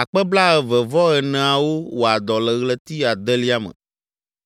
akpe blaeve-vɔ-eneawo (24,000) wɔa dɔ le ɣleti adelia me.